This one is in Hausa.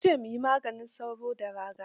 Sun ce mu yi maganin sauro da raga.